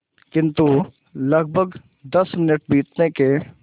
किंतु लगभग दस मिनट बीतने के